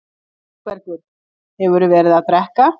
ÞÓRBERGUR: Hefurðu verið að drekka?